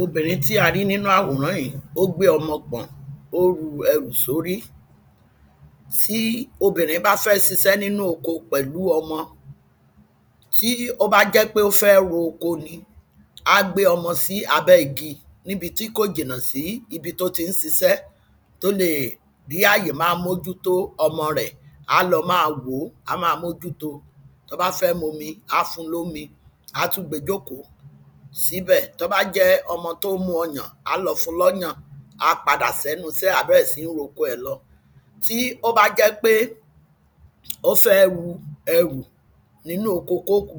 obìnrin tí a rí nínú àwòrán ìí, ó gbè ọmọ pọ̀n, ó ru ẹrù sórí. tí obìnrín bá fẹ́ sisẹ́ nínú oko pẹ̀lú ọmọ, tí ó bá jẹ́ pé ó fẹ́ ro oko ni, á gbé ọmọ sí abẹ́ igi níbi tí kò jìnà sí ibi tó tí ń sisẹ́, tó leè rí àyè máa mójú to ọmọ rẹ̀, á lọ máa wò ó, á ma mójú to, tó bá fẹ́ momi, á fún lómi, á tún gbe jókòó síbẹ̀. tó bá jẹ́ ọmọ tón mú ọyàn, á lọ fún lọ́yàn, á padà sẹ́nu isẹ́ ẹ̀, á bẹ̀rẹ̀ síí roko ẹ̀ lọ. tí ó bá jẹ́ pé ó fẹ́ ru ẹrù nínú oko kóku,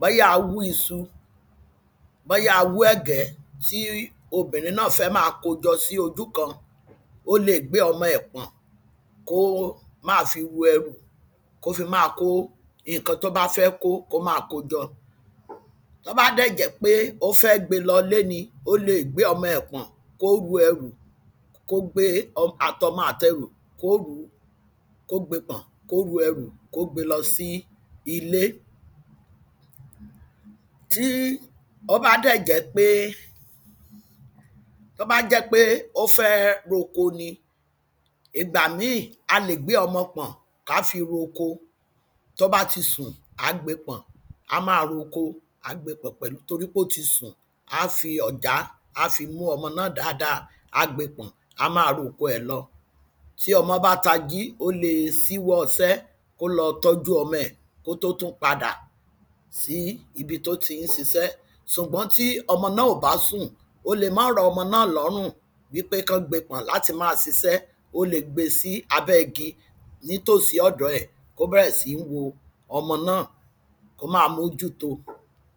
bóyá a wú isu, bóyá a wú ẹ̀gbẹ́ tí obìnrin náà fẹ́ maa ko jọ sí ojúkan, ó leè gbé ọmọ ẹ̀ pọ̀n kó máa fi ru ẹrù, kó fi máa kó ìnkan tó bá fẹ́ kó, kó máa ko jọ. tó bá dẹ̀ jẹ́ pé ó fẹ́ gbe lọlé ní, ó leè gbé ọmọ ẹ̀ pọ̀n, kó ru ẹrù, kó gbé ọm, àtọmọ àtẹrù, kó rùú, kó gbe pọ̀n, kó ru ẹrù, kó gbe lọ sí ilé. tí ó bá dẹ̀ jẹ́ pé, tó bá jẹ́ pé ó fẹ́ róko ni, ìgbà míì, a lè gbé ọmọ pọ̀n ká fi roko tó bá ti sùn, àá gbe pọ̀n, á máa roko, àá gbe pọ̀n pẹ̀lú torí pé ó ti sùn, á fi ọ̀já á fi mú ọmọ náà dáada, á gbe pọ̀n, á máa roko ẹ̀ lọ. tí ọmọ́ bá tají, ó le síwọ́ isẹ́, kó lọ tọ́jú ọmọ ẹ̀ kó tó tún padà sí ibi tó ti ń sisẹ́, sùgbọ́n tí ọmọ náà ò bá sùn, ó le máà rọ ọmọ náà lọ́rùn wípé kán gbe pọ̀n láti máa sisẹ́, ó le gbe sí abẹ́ igi nítòsí ọ̀dọ̀ọ ẹ̀ kó bẹ̀rẹ̀ síí wo ọmọ náà, kó máa mójú to.